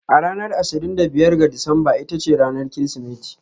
A ranar ashirin da biyar ga Disamba ita ce ranar Kirsimeti.